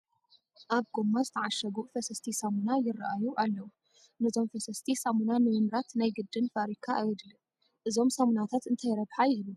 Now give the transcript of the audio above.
ኣብ ጐማ ዝተዓሸጉ ፈሰስቲ ሳሙና ይርአዩ ኣለዉ፡፡ ነዞም ፈሰስቲ ሳምና ንምምራት ናይ ግድን ፋብሪካ ኣየድልን፡፡ እዞ ሳሙናታት እንታይ ረብሓ ይህቡ?